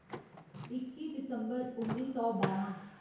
इक्की दिसम्बर उन्नी सौ बारां